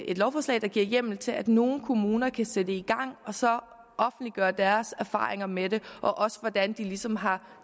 et lovforslag der giver hjemmel til at nogle kommuner kan sætte det i gang og så offentliggøre deres erfaringer med det også hvordan de ligesom har